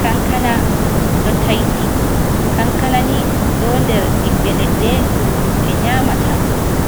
Kankana ɗo taiti, kankanani ɗo nder ɓiɓɓe leɗɗe ɗum himɓe nyamata,